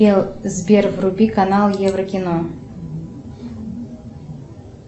сбер вруби канал еврокино